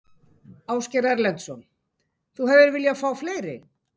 Ásgeir Erlendsson: Þú hefðir viljað fá fleiri?